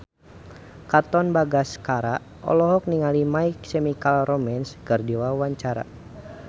Katon Bagaskara olohok ningali My Chemical Romance keur diwawancara